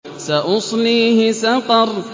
سَأُصْلِيهِ سَقَرَ